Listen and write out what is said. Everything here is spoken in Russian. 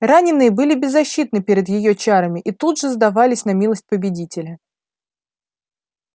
раненые были беззащитны перед её чарами и тут же сдавались на милость победителя